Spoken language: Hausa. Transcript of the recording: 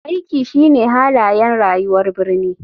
Aiki shine halayen rayuwar birni.